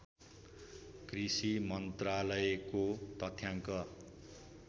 कृषि मन्त्रालयको तथ्याङ्क